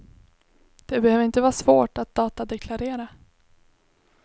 Det behöver inte vara svårt att datadeklarera.